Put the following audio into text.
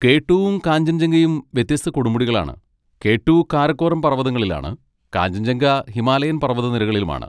K ട്ടൂവും കാഞ്ചൻജംഗയും വ്യത്യസ്ത കൊടുമുടികളാണ്, കെ ട്ടു കാരക്കോറം പർവതങ്ങളിലാണ്, കാഞ്ചൻജംഗ ഹിമാലയൻ പർവ്വതനിരകളിലുമാണ്.